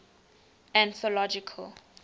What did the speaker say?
anthological